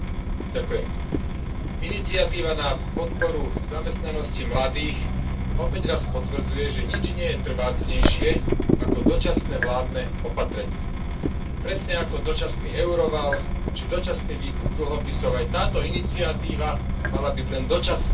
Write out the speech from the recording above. Vážená pani predsedajúca, iniciatíva na podporu zamestnanosti mladých opäť raz potvrdzuje, že nič nie je trvácnejšie ako dočasné vládne opatrenie. Presne ako dočasný euroval či dočasný výkup dlhopisov, aj táto iniciatíva mala byť len dočasná.